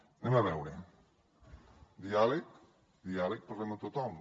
anem a veure diàleg diàleg parlem amb tothom